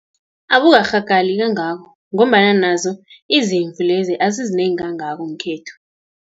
Abukarhagali kangako, ngombana nazo izimvu lezi, asizinengi kangako ngekhethu.